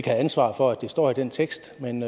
have ansvar for at det står i den tekst men